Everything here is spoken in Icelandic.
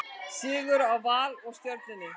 Sigur hjá Val og Stjörnunni